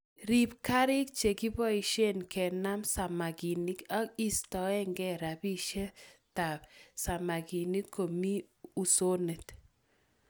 Riib karik chekiboisie kenam samakinik ak iistoegei romishetab samakinik Komi usonet